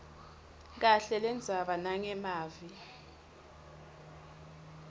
kahle lendzaba nangemavi